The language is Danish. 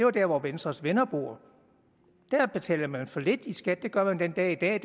er der hvor venstres venner bor der betalte man for lidt i skat det gør man den dag i dag